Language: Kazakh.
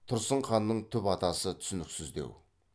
тұрсын ханның түп атасы түсініксіздеу